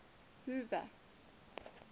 hoover